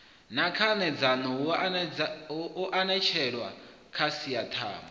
na khanedzano hu eletshedzwa khasiṱama